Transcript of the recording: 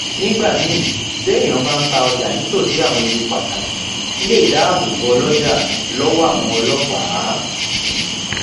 nígbà míì téèyàn bá ń ta ọjà nítòsí àwọn ibi pataki lè dáàbò bò óloja lówó àwọn ọlópàá